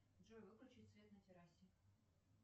джой выключить свет на террасе